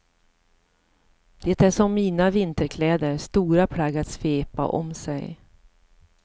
Det är som mina vinterkläder, stora plagg att svepa om sig.